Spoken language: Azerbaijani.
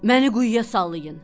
Məni quyuya sallayın,